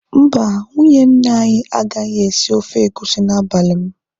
Mba, nwunye nna anyị agaghị esi ofe egusi n'abalị m